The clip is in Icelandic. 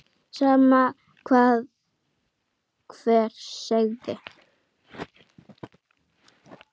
Sama hvað hver segði.